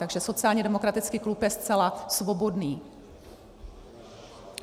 Takže sociálně demokratický klub je zcela svobodný.